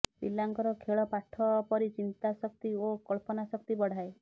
ପିଲାଙ୍କର ଖେଳ ପାଠ ପରି ଚିନ୍ତାଶକ୍ତି ଓ କଳ୍ପନାଶକ୍ତି ବଢ଼ାଏ